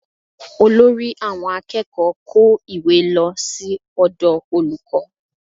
Olórí àwọn akẹ́kọ̀ọ́ kó ìwé lọ sí ọ̀dọ̀ olùkọ́